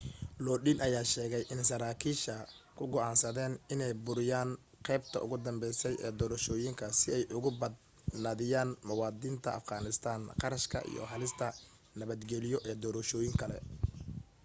lodin ayaa sheegay in sarakiisha ku go'aansadeen inay buriyaan qaybta ugu dambeysay ee doorashooyinka si ay uga badnaadiyaan muwadiniinta afghanistan kharashka iyo halista nabadgeliyo ee doorashooyin kale